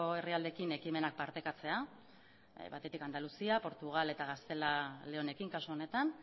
herrialdeekin ekimenak partekatzea batetik andaluzia portugal eta gaztela eta leonekin kasu honetan